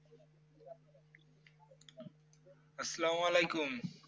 আসসালাম ওয়াআলাইকুম